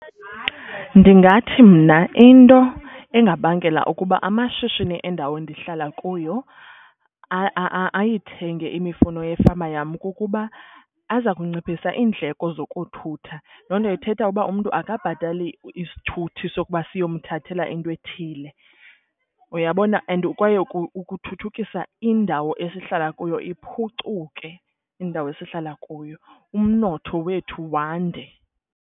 Ndingathi mna into engabangela ukuba amashishini endawo endihlala kuyo ayithenge imifuno yefama yam kukuba aza kunciphisa iindleko zokuthutha. Loo nto ithetha uba umntu akabhatali isithuthi sokuba siyomthathela into ethile. Uyabona and kwaye ukuthuthukisa indawo esihlala kuyo iphucuke indawo esihlala kuyo umnotho wethu wande.